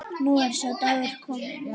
Nú er sá dagur kominn.